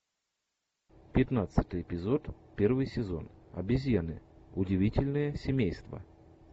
пятнадцатый эпизод первый сезон обезьяны удивительное семейство